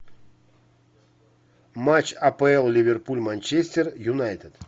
матч апл ливерпуль манчестер юнайтед